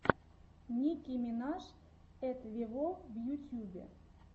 ники минаж эт вево в ютюбе